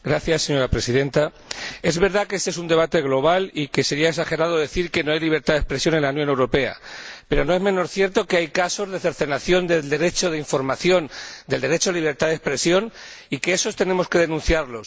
Señora Presidenta, es verdad que este es un debate global y que sería exagerado decir que no hay libertad de expresión en la Unión Europea, pero no es menos cierto que hay casos de cercenación del derecho de información y del derecho a la libertad de expresión que debemos denunciar.